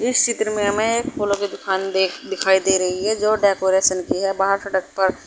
इस चित्र में हमें फूलों की दुकान दिखाई दे रही है जो डेकोरेशन की है वहा सड़क पर।